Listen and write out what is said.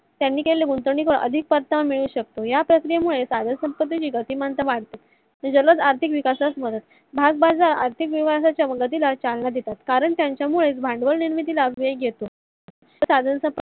त्याने केलेल्या गुंतवणुकीचा अधिक परतावा मिळू शकतो. या प्रक्रीये मुळे साधन संपती विभागातील माणसाला आर्थिक विकासात मदत भागबजारात आर्थिक विकासाच्या उनतिला चालना देतात. कारण त्यांच्या मुळे भांडवल निर्मितीला वेग येतो साधन संपती